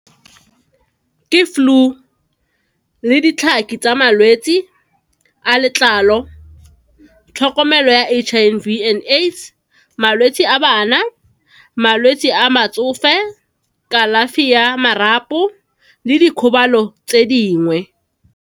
Ke flu le ditlhaki tsa malwetsi a letlalo, tlhokomelo ya H_I_V and AIDS, malwetse a bana, malwetse a batsofe, kalafi ya marapo, le dikgobalo tse dingwe.